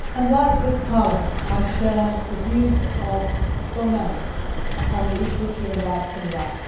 Like this Parliament, I share the views of so many on the issue of human rights in Iran.